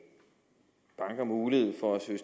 banker mulighed for at søge